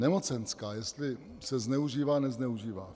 Nemocenská, jestli se zneužívá, nezneužívá.